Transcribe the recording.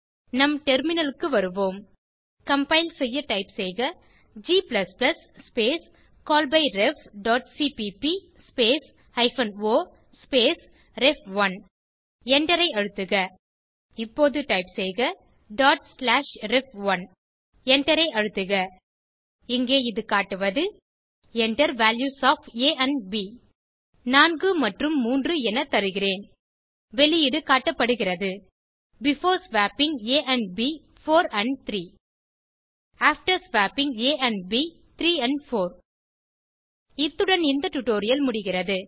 நம் டெர்மினலுக்கு வருவோம் கம்பைல் செய்ய டைப் செய்க g ஸ்பேஸ் callbyrefசிபிபி space hyphen o space ref one எண்டரை அழுத்துக இப்போது டைப் செய்க டாட் ஸ்லாஷ் ரெஃப்1 எண்டரை அழுத்துக இங்கே இது காட்டுவது Enter values of a and b 4 மற்றும் 3 என தருகிறேன் வெளியீடு காட்டப்படுகிறது before swapping a and b 4 and 3 after swapping a and b 3 and 4 இத்துடன் இந்த டுடோரியல் முடிகிறது